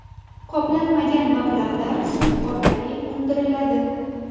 Qoplanmagan mablag‘lar sud orqali undiriladi.